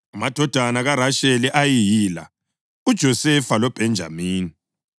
Amadodana kaRasheli ayeyila: uJosefa loBhenjamini.